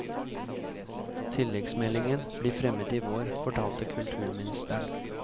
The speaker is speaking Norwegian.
Tilleggsmeldingen blir fremmet i vår, fortalte kulturministeren.